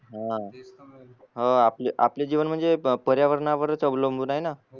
हा हो आपले आपले जीवन म्हणजे पर्यावरणावरच अवलंबून आहे ना